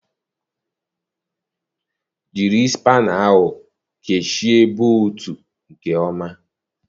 Jiri spana ahụ kechie boltụ nke ọma.